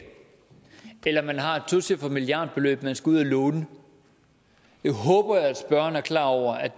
eller man har et tocifret milliardbeløb man skal ud og låne jeg håber at spørgeren er klar over at